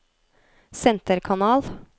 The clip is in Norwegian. senterkanal